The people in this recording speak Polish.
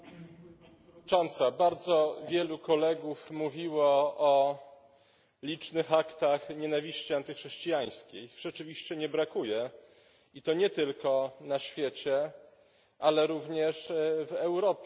Pani Przewodnicząca! Bardzo wielu kolegów mówiło o licznych aktach nienawiści antychrześcijańskiej ich rzeczywiście nie brakuje, i to nie tylko na świecie, ale również w Europie.